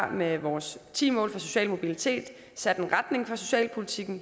med vores ti mål for social mobilitet sat en retning for socialpolitikken